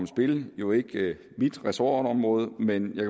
spil jo ikke mit ressortområde men jeg